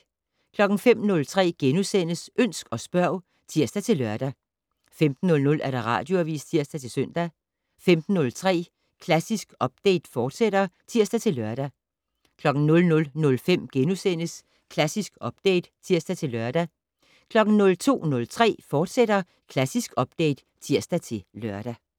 05:03: Ønsk og spørg *(tir-lør) 15:00: Radioavis (tir-søn) 15:03: Klassisk Update, fortsat (tir-lør) 00:05: Klassisk Update *(tir-lør) 02:03: Klassisk Update, fortsat (tir-lør)